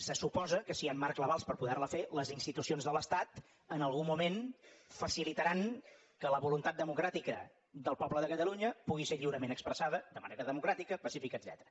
se suposa que si hi han marcs legals per poder la fer les institucions de l’estat en algun moment facilitaran que la voluntat democràtica del poble de catalunya pugui ser lliurement expressada de manera democràtica pacífica etcètera